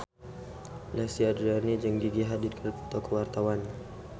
Lesti Andryani jeung Gigi Hadid keur dipoto ku wartawan